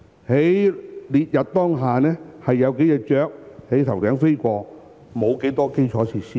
在烈日當空下，有數隻雀鳥在頭頂飛過，沒有多少基建設施。